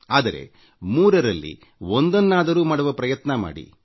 ಆದರೆ ಮೂರರಲ್ಲಿ ಒಂದನ್ನಾದರೂ ಮಾಡುವ ಪ್ರಯತ್ನ ಮಾಡಿ